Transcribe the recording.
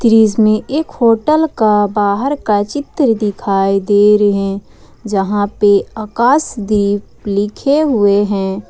दृश्य में एक होटल का बाहर का चित्र दिखाई दे रहे जहां पे आकाशदीप लिखे हुए हैं।